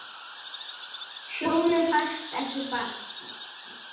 Tjónið fæst ekki bætt.